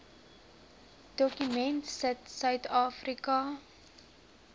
dokument sit suidafrika